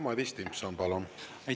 Madis Timpson, palun!